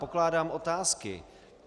Pokládám otázky.